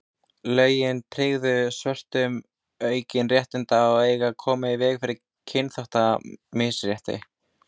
lögin tryggðu svörtum aukin réttindi og eiga að koma í veg fyrir kynþáttamisrétti